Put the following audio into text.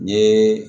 N ye